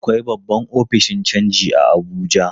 Akwai babban ofishin canji a Abuja.